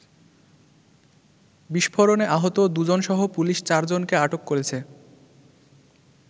বিস্ফোরণে আহত দু’জনসহ পুলিশ চারজনকে আটক করেছে।